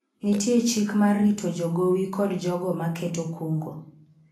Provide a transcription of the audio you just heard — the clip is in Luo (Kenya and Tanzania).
nitie chik ma rito jogowi kod jogo ma keto kungo